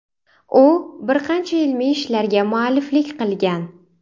U bir qancha ilmiy ishlarga mualliflik qilgan.